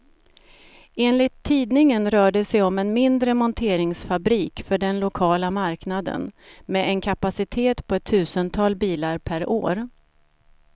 Enligt tidningen rör det sig om en mindre monteringsfabrik för den lokala marknaden, med en kapacitet på ett tusental bilar per år.